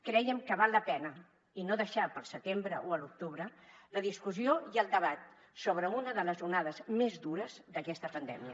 creiem que val la pena i no deixar per al setembre o l’octubre la discussió i el debat sobre una de les onades més dures d’aquesta pandèmia